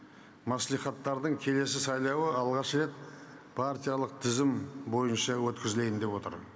мәслихаттардың келесі сайлауы алғаш рет партиялық тізім бойынша өткізілейін деп отыр